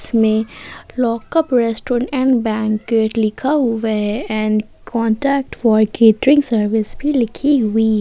इसमें lockup restaurant and banquet लिखा हुआ है and contact for catering service भी लिखी हुई है।